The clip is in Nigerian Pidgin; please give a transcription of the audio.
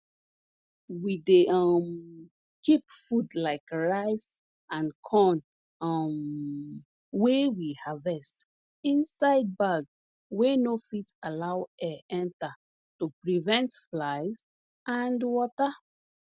we dey um keep food like rice and corn um wey we harvest inside bag wey no fit allow air enter to prevent flies and water